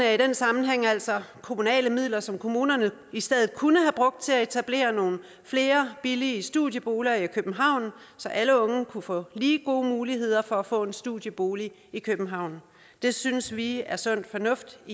er i den sammenhæng altså kommunale midler som kommunerne i stedet kunne have brugt til at etablere nogle flere billige studieboliger for i københavn så alle unge kunne få lige gode muligheder for at få en studiebolig i københavn det synes vi i sf er sund fornuft